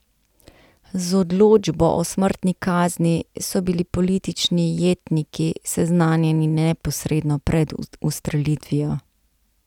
Z odločbo o smrtni kazni so bili politični jetniki seznanjeni neposredno pred ustrelitvijo.